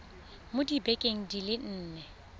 mo dibekeng di le nne